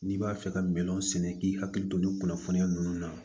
N'i b'a fɛ ka miliyɔn sɛnɛ k'i hakili to nin kunnafoniya ninnu na